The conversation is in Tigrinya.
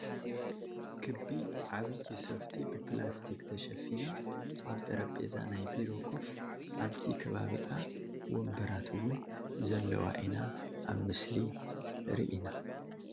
ክቢ ዓብይ ሶፍቲ ብላስቲክ ተሸፊና ኣብ ጠረቤዛ ናይ ቢሮ ኮፍ ኣብቲ ከባቢኣ ወንበራት እውን ዘለዋ ኢና ኣብ ምስሊ ሪኢና ።